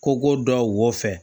Ko ko dɔ wo fɛn